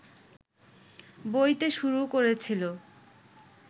বইতে শুরু করেছিল